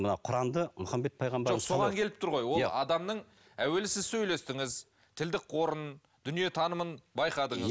мына құранды мұхаммед пайғамбар жоқ соған келіп тұр ғой ол адамның әуелі сіз сөйлестіңіз тілдік қорын дүниетанымын байқадыңыз